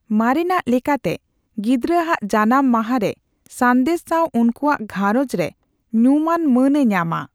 ᱢᱟᱨᱮᱱᱟᱜ ᱞᱮᱠᱟᱛᱮ, ᱜᱤᱫᱽᱨᱟᱹ ᱟᱜ ᱡᱟᱱᱟᱢ ᱢᱟᱦᱟ ᱨᱮ ᱥᱟᱸᱫᱮᱥ ᱥᱟᱣ ᱩᱱᱠᱩᱣᱟᱜ ᱜᱷᱟᱨᱚᱸᱡᱽ ᱨᱮ ᱧᱩᱢᱟᱱ ᱢᱟᱹᱱ ᱮ ᱧᱟᱢᱟ ᱾